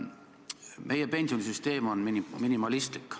Meie pensionisüsteem on minimalistlik.